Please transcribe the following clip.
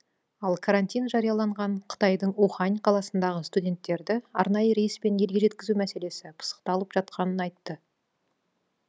ал карантин жарияланған қытайдың ухань қаласындағы студенттерді арнайы рейспен елге жеткізу мәселесі пысықталып жатқанын айтты